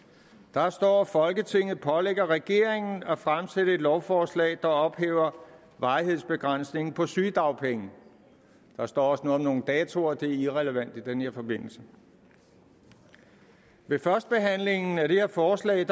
der står at folketinget pålægger regeringen at fremsætte et lovforslag der ophæver varighedsbegrænsningen på sygedagpenge der står også noget om nogle datoer det er irrelevant i den her forbindelse ved førstebehandlingen af det her forslag